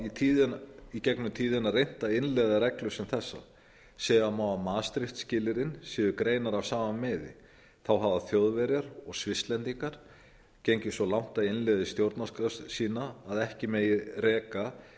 hafa í gegnum tíðina reynt að innleiða reglur sem þessar segja má að maastricht skilyrðin séu greinar af sama meiði þá hafa þjóðverjar og svisslendingar gengið svo langt að innleiða í stjórnarskrá sína að ekki megi reka